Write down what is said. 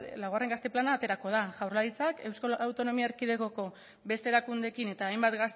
laugarren gazte plana aterako da jaurlaritzak euskal autonomia erkidegoko beste erakundeekin eta hainbat